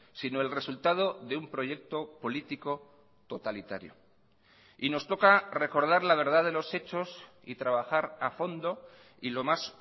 sino el resultado de un proyecto político totalitario y nos toca recordar la verdad de los hechos y trabajar a fondo y lo más